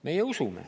Meie usume.